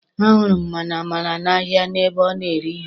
A hụrụ m mama Amara n'ahia ebe ọ na-ere ihe.